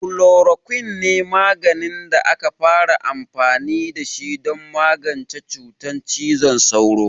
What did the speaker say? Chloroquine ne maganin da aka fara amfani da shi don magance cutar cizon sauro.